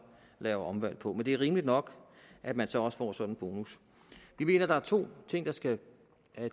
laver omvalg på men det er rimeligt nok at man så også får sådan en bonus vi mener der er to ting der skal